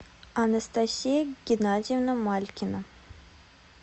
анастасия геннадьевна малькина